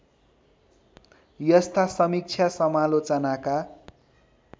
यस्ता समीक्षा समालोचनाका